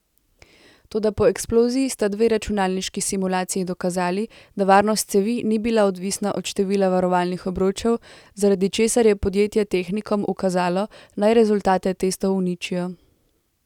Toda po eksploziji sta dve računalniški simulaciji dokazali, da varnost cevi ni bila odvisna od števila varovalnih obročev, zaradi česar je podjetje tehnikom ukazalo, naj rezultate testov uničijo.